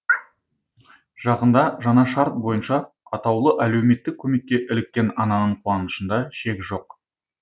жақында жаңа шарт бойынша атаулы әлеуметтік көмекке іліккен ананың қуанышында шек жоқ